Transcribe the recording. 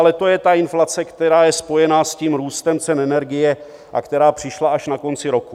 Ale to je ta inflace, která je spojena s tím růstem cen energie a která přišla až na konci roku.